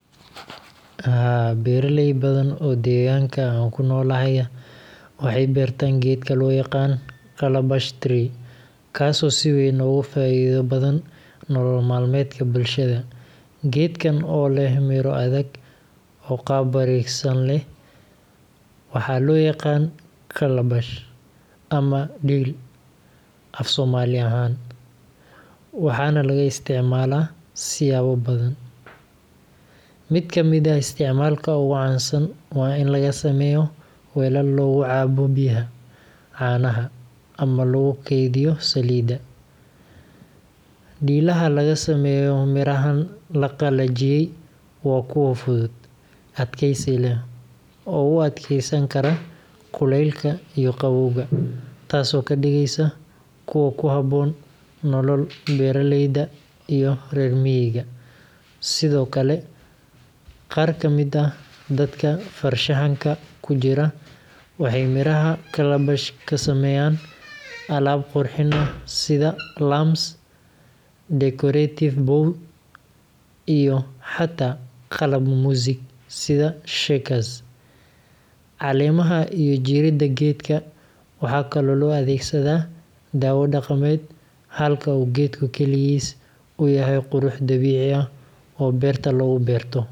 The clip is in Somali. Haa, beeraley badan oo deegaanka aan ku noolahay ah waxay beertaan geedka loo yaqaan calabash tree, kaasoo si weyn ugu faa’iido badan nolol maalmeedka bulshada. Geedkan oo leh miro adag oo qaab wareegsan leh, waxaa loo yaqaannaa calabash ama dhiil af-soomaali ahaan, waxaana laga isticmaalaa siyaabo badan. Mid ka mid ah isticmaalka ugu caansan waa in laga sameeyo weelal lagu cabbo biyaha, caanaha, ama lagu kaydiyo saliidda. Dhiilaha laga sameeyo mirahan la qalajiyey waa kuwo fudud, adkaysi leh, oo u adkaysan kara kulaylka iyo qabowga, taasoo ka dhigaysa kuwo ku habboon nolol beeraleyda iyo reer miyiga. Sidoo kale, qaar ka mid ah dadka farshaxanka ku jira waxay miraha calabash ka sameeyaan alaab qurxin ah sida lamps, decorative bowls, iyo xataa qalab muusik sida shakers. Caleemaha iyo jirridda geedka waxaa kaloo loo adeegsadaa dawo dhaqameed, halka uu geedku kaligiis u yahay qurux dabiici ah oo beerta lagu beero.